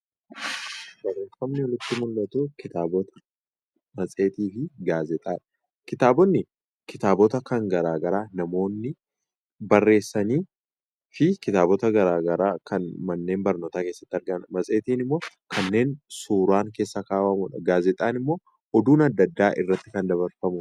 Barreeffamni asiin olitti mul'atu, kitaabota, matseetii fi gaazeexaa Kitaabotni kitaabota kan garaagaraa kan namoonni barreessanii fi kan manneen barnootaa keessatti argaman. Matseetiin immoo kanneen suuraan keessa kaa'amuudha. Gaazexaan immoo oduun addaa addaa irratti kan dabarfamudha.